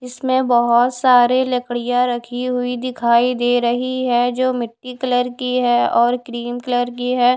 इसमें बहोत सारी लकडिया रखी हुई दिखाई दे रही है जो मिट्टी कलर की है और क्रीम कलर की है।